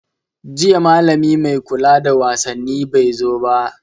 Jiya malami mai kula da wasaanni bai zo ba.